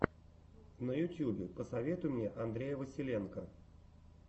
на ютубе посоветуй мне андрея василенко